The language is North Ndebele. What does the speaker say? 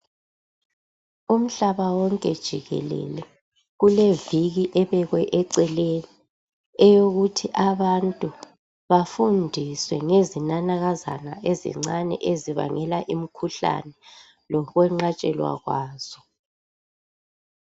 Umhlaba wonke jikelele kuleviki ebekwe eceleni eyokuthi abantu bafundiswe ngezinanakazana ezincani ezibangela umkhuhlane lokwenqathwelwa kwazo